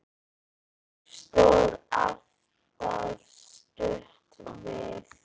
Hún stóð alltaf stutt við.